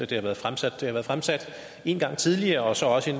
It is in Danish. det har været fremsat det har været fremsat en gang tidligere og så også i